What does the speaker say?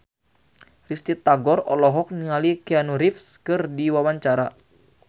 Risty Tagor olohok ningali Keanu Reeves keur diwawancara